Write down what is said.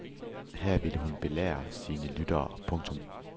Her ville hun belære sine lyttere. punktum